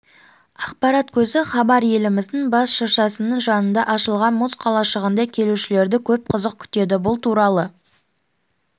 ақпарат көзі хабар еліміздің бас шыршасының жанында ашылған мұз қалашығында келушілерді көп қызық күтеді бұл туралы